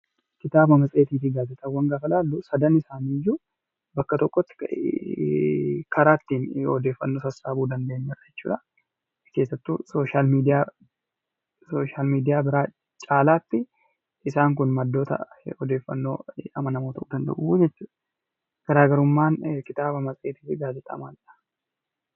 Kitaaba, matseetii fi gaazexaawwan gaafa ilaallu sadan isaaniiyyuu bakka tokkotti gahee, karaa ittiin odeeffannoo sassaabuu dandeenyudha jechuudha. Keessattuu sooshaal miidiyaa biraa caalaatti isaan kun maddoota odeeffannoo amanamoo ta'uu danda'u jechuudha. Garaagarummaan kitaaba, matseetii fi gaazexaa maalidha?